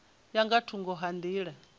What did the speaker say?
ya nga thungo ha nḓila